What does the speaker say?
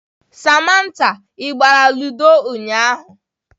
Samantha, ị gbara ludo ụnyahụ?